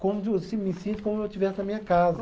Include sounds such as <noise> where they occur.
Como de, <unintelligible> me sinto como se eu estivesse na minha casa.